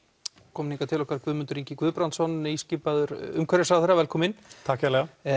kominn hingað til okkar Guðmundur Ingi Guðbrandsson nýskipaður umhverfisráðherra velkominn takk kærlega